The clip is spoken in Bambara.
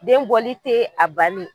Den bɔli te a banen ye